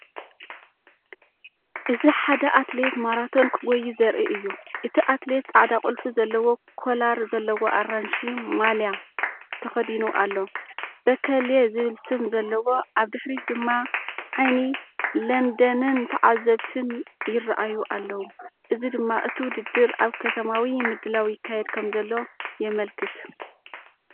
እዚ ሓደ ኣትሌት ማራቶን ክጎዪ ዘርኢ እዩ። እቲ ኣትሌት ጻዕዳ ቁልፊ ዘለዎ ኮላር ዘለዎ ኣራንሺ ማልያ ተኸዲኑ ኣሎ፣“በከሌ”ዝብል ስም ዘለዎ። ኣብ ድሕሪት ድማ ዓይኒ ለንደንን ተዓዘብትን ይረኣዩ ኣለዉ፡እዚ ድማ እቲ ውድድር ኣብ ከተማዊ ምድላው ይካየድ ከምዘሎ የመልክት።